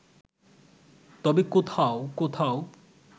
তবে কোখাও কোথাও